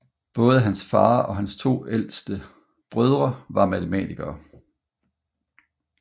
Både hans far og hans to ældre brødre var matematikere